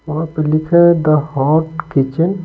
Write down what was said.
वहां पे लिखा है द हॉट किचन ।